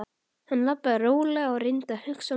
Hann labbaði rólega og reyndi að hugsa málið.